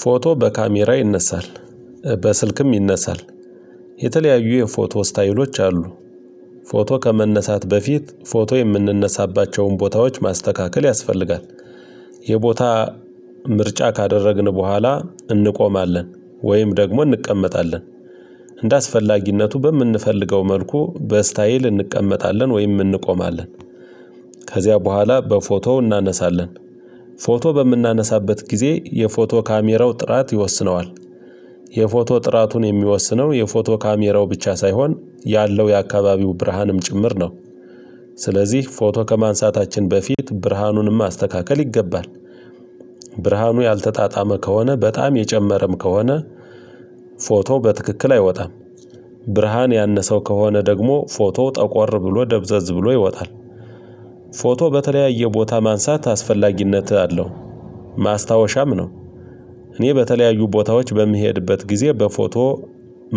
ፎቶ በካሜራ ይነሳል በስልክም ይነሳል የተለያዩ የፎቶ ስታይሎች ፎቶ ከመነሳት በፊት ፎቶ የምንነሳባቸውን ቦታዎች ማስተካከል ያስፈልጋል። የቦታ ምርጫ ካደረግን በኋላ እንቆማለን ወይም ደግሞ እንቀመጣለን እንደ አስፈላጊነቱ በምንፈልገው መልኩ በስታይል እንቀመጣለን ወይም እንቆማለን። ከዚያ በኋላ በፎቶው እናነሳለን። ፎቶ በምናነሳበት ጊዜ የፎቶ ካሜራው ጥራት ይወስነዋል። የፎቶ ጥራቱን የሚወስነው የፎቶ ካሜራው ብቻ ሳይሆን ያለው የአካባቢው ብርሃንም ጭምር ነው። ስለዚህ ፎቶ ከማንሳታችን በፊት ብርሃኑንም ማስተካከል ይገባል። ብርሃኑ ያልተጣጣመ ከሆነ በጣም የጨመረም ከሆነ። ፎቶ በትክክል አይወጣም። ብርሃን ያነሰው ከሆነ ደግሞ ፎቶ ጠቆር ብሎ ደብዘዝ ብሎ ይወጣል። ፎቶ በተለያየ ቦታ ማንሳት አስፈላጊነትህ አለው ማስታወሻም ነው። እኔ በተለያዩ ቦታዎች በምሄድበት ጊዜ በፎቶ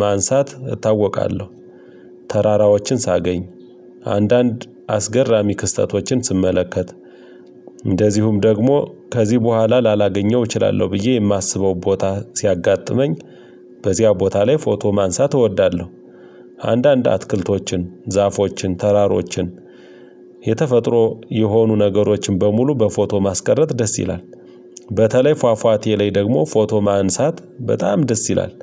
ማንሳት እታወቃለሁ። ተራራዎችን ሳገኝ አንዳንድ አስገራሚ ክስተቶችን ስመለከት። እንደዚሁም ከዚህ በኋላ ላላገኘው እችላለሁ ብዬ የማስበው ቦታ ሲያጋጥመኝ። በዚያ ቦታ ላይ ፎቶ ማንሳት እወዳለሁ። አንዳንድ አትክልቶችን ዛፎችን ተራሮችን። የሆኑ ነገሮችን በሙሉ በፎቶ ማስቀረት ደስ ይላል። በተለይ ፏፏቴ ላይ ደግሞ ፎቶ ማንሳት በጣም ደስ ይላል።